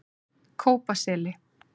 Kópaseli